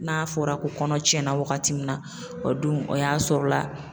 N'a fɔra ko kɔnɔ cɛnna wagati min na o dun o y'a sɔrɔ la